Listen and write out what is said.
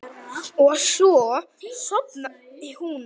Og svo sofnaði hún.